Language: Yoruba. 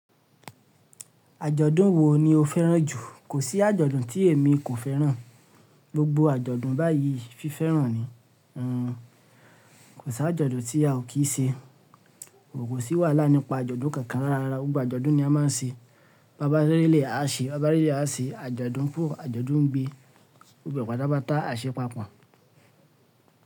Àjọ̀dún wo ni o fẹ́ràn jù? Kò sí àjọ̀dún tí èmi kò fẹ́ràn. Gbogbo àjọ̀dún báyìí fi fẹ́ràn ni. Hhn. Kò sí àjọ̀dún tí a ò kí ṣe. Kòkò sí wàhálà nípa àjọ̀dún kankan rárá. Gbogbo àjọ̀dún ni a máa ń ṣe. Babá rírelé a ṣe, bàbá reléyi a ṣe, àjọ̀dún fún, àjọ̀dún obìin. Gbogbo ẹ̀ pàtápàtá a ṣe papọ̀